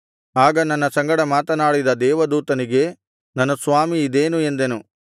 ಆಗ ನನ್ನ ಸಂಗಡ ಮಾತನಾಡಿದ ದೇವದೂತನಿಗೆ ನನ್ನ ಸ್ವಾಮೀ ಇದೇನು ಎಂದೆನು